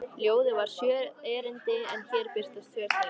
Ljóðið var sjö erindi en hér birtast tvö þeirra: